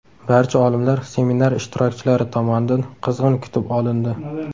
Barcha olimlar seminar ishtirokchilari tomonidan qizg‘in kutib olindi.